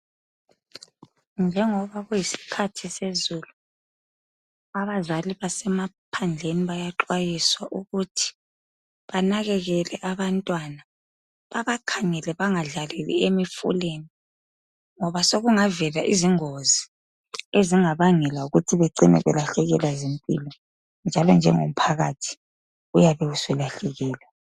Njengoba ku yisikhathi sezulu abazali abasemaphandleni bayaxwayiswa ukuthi benakekele abantwana babakhangele bengadlaleli emifuleni ngoba sokungavela ingozi ezingabangela ukuthi becine belahlekelwa yimpilo njalo lomphakathi uyabe usulahlekelwe.